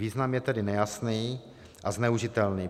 Význam je tedy nejasný a zneužitelný.